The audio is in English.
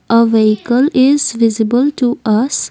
uh vehicle is visible to us.